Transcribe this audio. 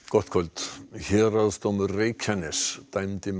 gott kvöld héraðsdómur Reykjaness dæmdi